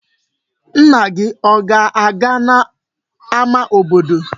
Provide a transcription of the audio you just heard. Nna gị a ga-aga n'ama obodo?